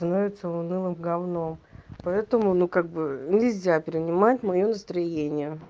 становится унылым гавном поэтому ну как бы нельзя принимать моё настроение